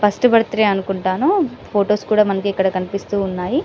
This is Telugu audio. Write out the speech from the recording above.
ఫస్ట్ బర్త్డే అనుకుంటాను ఫొటోస్ కూడా మనకు ఇక్కడ కనిపిస్తూ ఉన్నాయి .